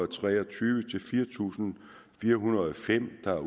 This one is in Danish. tre og tyve til fire tusind fire hundrede og fem der